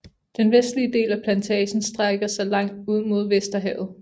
Den vestlige del af plantagen strækker sig langt ud mod Vesterhavet